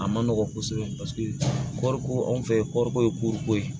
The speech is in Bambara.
A ma nɔgɔn kosɛbɛ paseke kɔɔri ko anw fɛ kɔɔriko ye ye